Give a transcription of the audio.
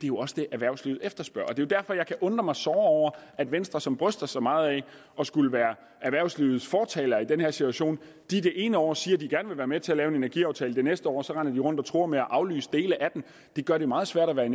jo også det erhvervslivet efterspørger det jo derfor jeg kan undre mig såre over at venstre som bryster sig meget af at skulle være erhvervslivets fortaler i den her situation det ene år siger de gerne vil være med til at lave en energiaftale og det næste år render rundt og truer med at aflyse dele af den det gør det meget svært og det